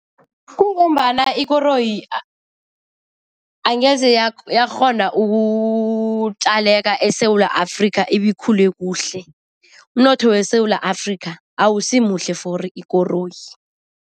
Kungombana ikoroyi angeze yakghona ukutjaleka eSewula Afrika ibe ikhule khuhle. Umnotho weSewula Afrika awusimuhle for ikoroyi.